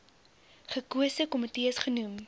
gekose komitees genoem